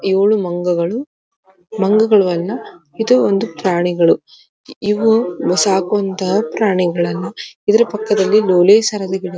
ಯೋಳು ಮಂಗಗಳು ಮಂಗಗಳು ಅಲ್ಲಾಇದು ಒಂದು ಪ್ರಾಣಿಗಳು ಇವು ಸಾಕುವಂತಹ ಪ್ರಾಣಿಗಳಲ್ಲಾ ಇದ್ರ ಪಕ್ಕದಲ್ಲಿ ಲೋಳೆಸರದ ಗಿಡಗಳು.